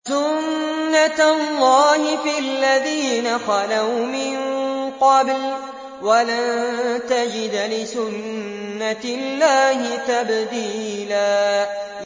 سُنَّةَ اللَّهِ فِي الَّذِينَ خَلَوْا مِن قَبْلُ ۖ وَلَن تَجِدَ لِسُنَّةِ اللَّهِ تَبْدِيلًا